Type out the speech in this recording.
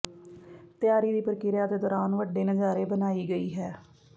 ਤਿਆਰੀ ਦੀ ਪ੍ਰਕਿਰਿਆ ਦੇ ਦੌਰਾਨ ਵੱਡੇ ਨਜ਼ਾਰੇ ਬਣਾਈ ਗਈ ਹੈ